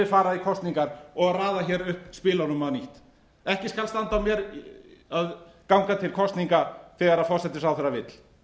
fara í kosningar og raða hér upp spilunum á ný ekki skal standa á mér að ganga til kosninga þegar forsætisráðherra vill